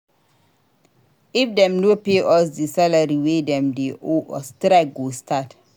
If dem no pay us di salary wey dem dey owe us strike go start.